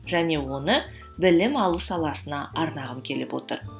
және оны білім алу саласына арнағым келіп отыр